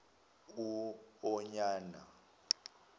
uonyana